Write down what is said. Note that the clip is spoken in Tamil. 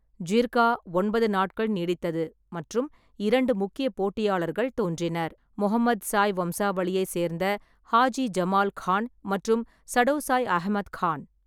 ஜிர்கா ஒன்பது நாட்கள் நீடித்தது மற்றும் இரண்டு முக்கிய போட்டியாளர்கள் தோன்றினர்: முகமதுசாய் வம்சாவளியை சேர்ந்த ஹாஜி ஜமால் கான் மற்றும் சடோசாய் அகமது கான்.